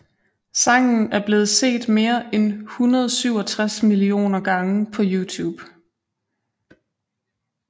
Sangen er blevet set mere end 167 millioner gange på YouTube